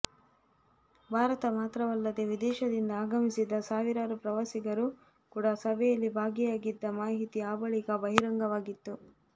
ಭಾರತ ಮಾತ್ರವಲ್ಲದೇ ವಿದೇಶದಿಂದ ಆಗಮಿಸಿದ್ದ ಸಾವಿರಾರು ಪ್ರವಾಸಿಗರು ಕೂಡ ಸಭೆಯಲ್ಲಿ ಭಾಗಿಯಾಗಿದ್ದ ಮಾಹಿತಿ ಆ ಬಳಿಕ ಬಹಿರಂಗವಾಗಿತ್ತು